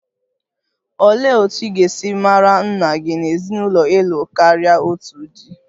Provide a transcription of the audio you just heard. Olee otú ị ga-esi mara nna gị n'ezinụlọ ịlụ karia otu di?